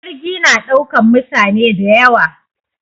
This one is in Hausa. Jirgi na ɗaukan mutane dayawa